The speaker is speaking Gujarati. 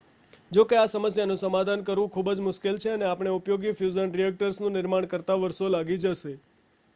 જોકે આ સમસ્યાનું સમાધાન કરવું ખૂબ જ મુશ્કેલ છે અને આપણે ઉપયોગી ફ્યુઝન રિએક્ટર્સ નું નિર્માણ કરતા વર્ષો લાગી જશે